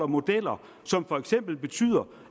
modeller som for eksempel betyder